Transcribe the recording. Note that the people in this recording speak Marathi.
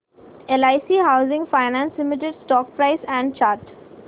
LIC housing finance limited stock price and chart